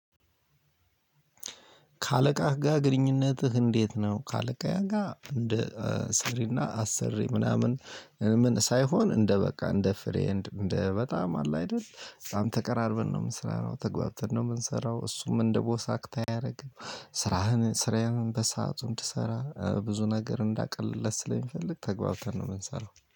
ከአለቃህ ጋር ግንኙነትህ እንዴት ነው? ከአለቃዬ ጋር እንደ ሰሪ እና አሰሪ ምናምን ምን ሳይሆን እንደበቃ እንደፍሬ እንደበጣም አለ አይደል በጣም ተቀራርበን ነው የምንሰራው ተግባብተን ነው የምንሰራው እሱም እንደ 'ቦስ አክት' አያደርግም ስራህን ስራዬ ነው በሰአቱ እንድ ሰራ ብዙ ነገር እንዳቀልለት ስለሚፈልግ ተግባብተን ነው የምንሰራው።